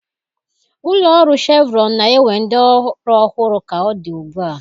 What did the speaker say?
Ụlọ ọrụ shevrọn na-ewe ndị ọrụ ọhụrụ ka ọ dị ugbu a.